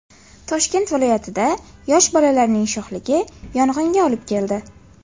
Toshkent viloyatida yosh bolalarning sho‘xligi yong‘inga olib keldi.